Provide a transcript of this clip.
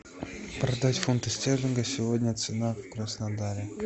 продать фунты стерлингов сегодня цена в краснодаре